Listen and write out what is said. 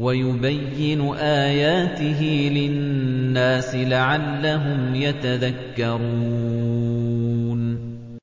وَيُبَيِّنُ آيَاتِهِ لِلنَّاسِ لَعَلَّهُمْ يَتَذَكَّرُونَ